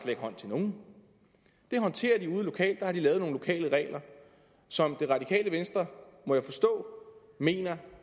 ikke hånd til nogen det håndterer de ude lokalt der har de lavet nogle lokale regler som radikale venstre må jeg forstå mener